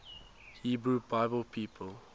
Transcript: hebrew bible people